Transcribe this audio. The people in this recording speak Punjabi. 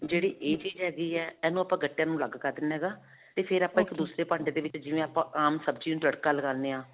ਜਿਹੜੀ ਇਹ ਚੀਜ਼ ਹੈਗੀ ਹੈ, ਇਹ ਨੂੰ ਆਪਾਂ ਗੱਟਿਆਂ ਨੂੰ ਅਲੱਗ ਕਰ ਦੇਣਾ ਹੈਗਾ ਤੇ ਫਿਰ ਆਪਾਂ ਇਕ ਦੂਸਰੇ ਭਾਂਡੇ ਦੇ ਵਿੱਚ ਜਿਵੇਂ ਆਪਾਂ ਆਮ ਸਬਜ਼ੀ ਨੂੰ ਤੜਕਾ ਲਗਾਉਂਦੇ ਹਾਂ.